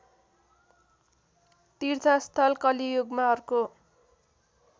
तीर्थस्थल कलियुगमा अर्को